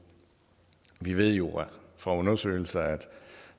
vi ved jo fra undersøgelser at